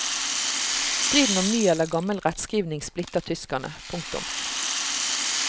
Striden om ny eller gammel rettskrivning splitter tyskerne. punktum